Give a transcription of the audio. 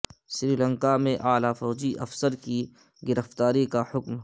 سری لنکا میں اعلی فوجی افسر کی گرفتاری کاحکم